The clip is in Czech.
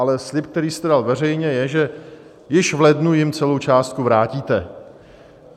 Ale slib, který jste dal veřejně, je, že již v lednu jim celou částku vrátíte.